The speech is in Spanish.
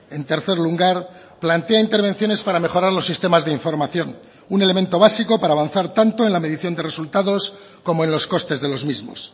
en tercer lugar plantea intervenciones para mejorar los sistemas de información un elemento básico para avanzar tanto en la medición de resultados como en los costes de los mismos